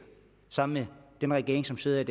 sammen med den regering som sidder i